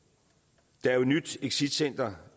der er jo et nyt exitcenter